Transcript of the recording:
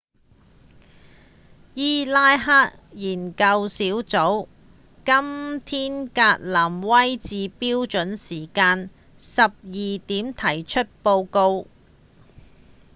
伊拉克研究小組在今天格林威治標準時間12點提出報告